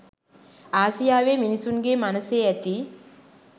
ආසියාවේ මිනිසුන්ගේ මනසේ ඇති